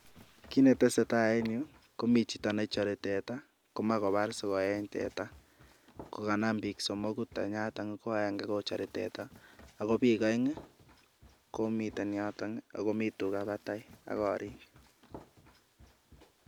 Kit netesetai en yuh komii chito nechore teta komoche kobaar swoo en teta, kokanam bik somoku tenyaton ko agenge kochore teta ko biik oeng komiten yoton akomii tugaa batai agorik.